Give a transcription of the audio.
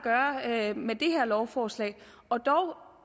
at gøre med det her lovforslag og dog